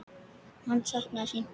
Hann saknaði sín.